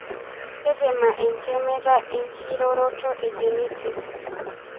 Tetema entemata e enkiroroto egenetic